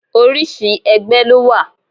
Orísìí ẹgbẹ́ ló wà.